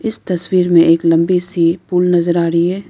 इस तस्वीर में एक लंबी सी पुल नजर आ रही है।